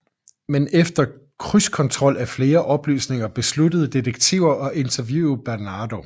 Men efter krydskontrol af flere oplysninger besluttede detektiver at interviewe Bernardo